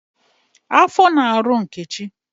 Afọ na-arụ Nkechi